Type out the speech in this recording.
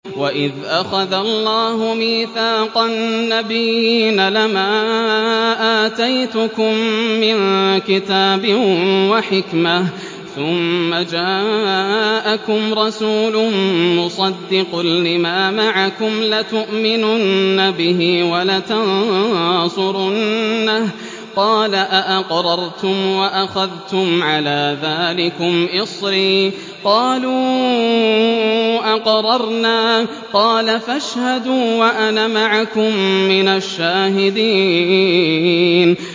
وَإِذْ أَخَذَ اللَّهُ مِيثَاقَ النَّبِيِّينَ لَمَا آتَيْتُكُم مِّن كِتَابٍ وَحِكْمَةٍ ثُمَّ جَاءَكُمْ رَسُولٌ مُّصَدِّقٌ لِّمَا مَعَكُمْ لَتُؤْمِنُنَّ بِهِ وَلَتَنصُرُنَّهُ ۚ قَالَ أَأَقْرَرْتُمْ وَأَخَذْتُمْ عَلَىٰ ذَٰلِكُمْ إِصْرِي ۖ قَالُوا أَقْرَرْنَا ۚ قَالَ فَاشْهَدُوا وَأَنَا مَعَكُم مِّنَ الشَّاهِدِينَ